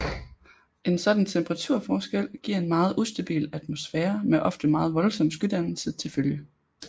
En sådan temperaturforskel giver en meget ustabil atmosfære med ofte meget voldsom skydannelse til følge